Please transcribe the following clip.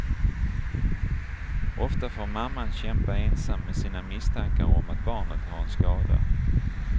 Ofta får mamman kämpa ensam med sina misstankar om att barnet har en skada.